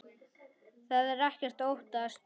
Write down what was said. Það er ekkert að óttast.